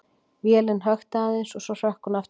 Vélin hökti aðeins og svo hrökk hún aftur í gang.